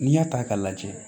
N'i y'a ta k'a lajɛ